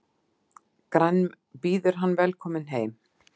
Býður hann velkominn heim.